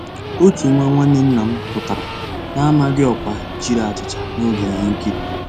Ótú nwá nnwànné nná m pụ́tárá nàmàghị́ ọ́kwá jiri àchíchà nògé íhé nkírí.